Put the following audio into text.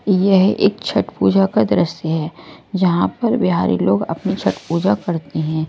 यह एक छट पूजा का दृश्य है जहां पर बिहारी लोग अपनी छट पूजा करते हैं।